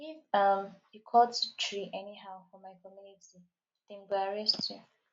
if um you cut tree anyhow for my community dem go arrest you